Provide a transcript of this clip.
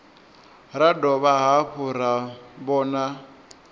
ra dovha hafhu ra vhona